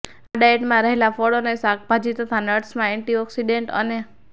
આ ડાયેટમાં રહેલા ફળો અને શાકભાજી તથા નટ્સમાં એન્ટીઓક્સીડેન્ટ અને